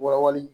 Wali